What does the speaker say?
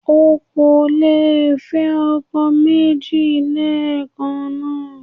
O ò lè fẹ́ ọkọ méjì lẹ́ẹ̀kàn náà.